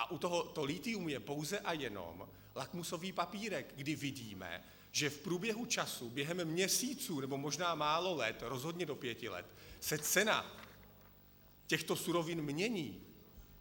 A u toho to lithium je pouze a jenom lakmusový papírek, kdy vidíme, že v průběhu času během měsíců nebo možná málo let, rozhodně do pěti let, se cena těchto surovin mění.